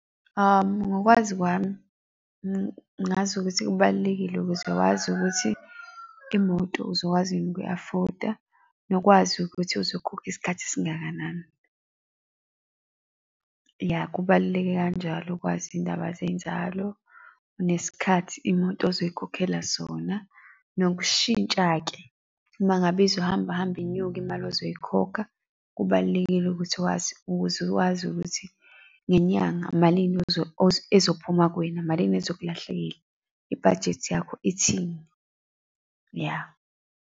Ngokwazi kwami ngazi ukuthi kubalulekile ukuthi wazi ukuthi imoto uzokwazi yini ukuyi-afford-a, nokwazi ukuthi uzokhokha isikhathi esingakanani. Ya, kubaluleke kanjalo ukwazi iyindaba zenzalo, nesikhathi imoto ozoyikhokhela sona. Nokushintsha-ke uma ngabe izohamba hambe inyuke imali ozoyikhokha. Kubalulekile ukuthi wazi, ukuze wazi ukuthi ngenyanga malini ezophuma kuwena, malini ezokulahlekela, i-budget yakho ithini, ya.